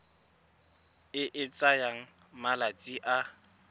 e e tsayang malatsi a